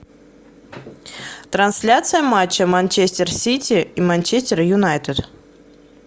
трансляция матча манчестер сити и манчестер юнайтед